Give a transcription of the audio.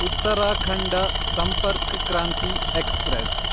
Uttarakhand Sampark Kranti express